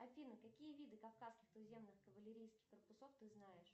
афина какие виды кавказских туземных кавалерийских корпусов ты знаешь